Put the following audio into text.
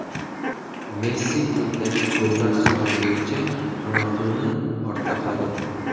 Messi klubdagi gollar soni bo‘yicha Ronalduni ortda qoldirdi.